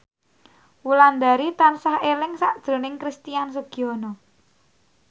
Wulandari tansah eling sakjroning Christian Sugiono